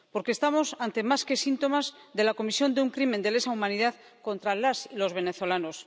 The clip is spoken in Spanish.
Porque estamos ante más que síntomas de la comisión de un crimen de lesa humanidad contra las y los venezolanos.